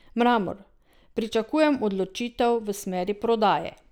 Mramor: "Pričakujem odločitev v smeri prodaje.